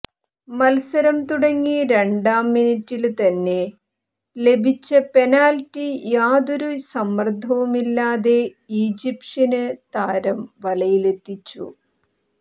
മത്സരം തുടങ്ങി രണ്ടാം മിനിറ്റില് തന്നെ ലഭിച്ച പെനാല്റ്റി യാതൊരു സമ്മര്ദ്ദവുമില്ലാതെ ഈജിപ്ഷ്യന് താരം വലയിലെത്തിച്ചു